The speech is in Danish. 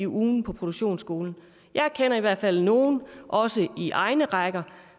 ugen på produktionsskolen jeg kender i hvert fald nogle også i egne rækker